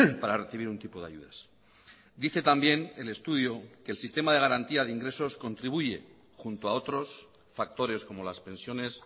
para recibir un tipo de ayudas dice también el estudio que el sistema de garantía de ingresos contribuye junto a otros factores como las pensiones